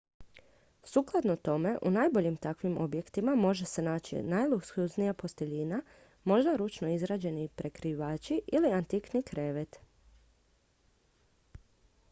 sukladno tome u najboljim takvim objektima može se naći najluksuznija posteljina možda ručno izrađeni prekrivač ili antikni krevet